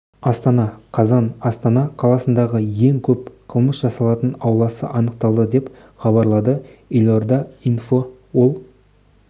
астана қазан астана қаласындағы ең көп қылмыс жасалатын ауласы анықтады деп хабарлады елорда инфо ол